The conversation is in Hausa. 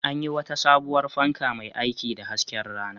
An yi wata sabuwar fanka mai aiki da hasken rana.